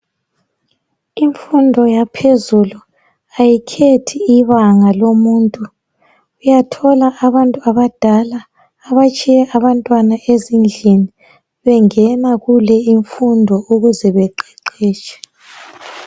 Imfundo yaphezulu ayikhethi ibanga lomuntu uyathola abantu abadala abatshiye abantwana ezindlini bengena kule imfundo ukuze beqeqetshe.